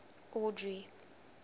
audrey